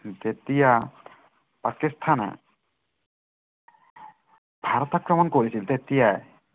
তেতিয়া, পাকিস্থানে ভাৰত আক্ৰমণ কৰিছিল। তেতিয়া